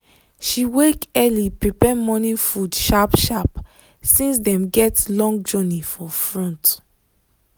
she wake early prepare morning food sharp sharp since dem get long journey for front.